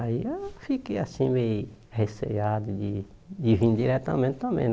Aí eu fiquei assim, meio receado de de vir diretamente também né.